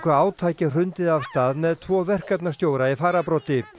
átaki hrundið af stað með tvo verkefnastjóra í fararbroddi